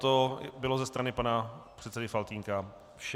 To bylo ze strany pana předsedy Faltýnka vše.